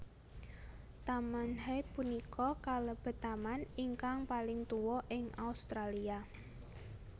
Taman Hyde punika kalebet taman ingkang paling tua ing Australia